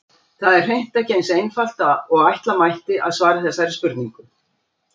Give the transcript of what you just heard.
Það er hreint ekki eins einfalt og ætla mætti að svara þessari spurningu.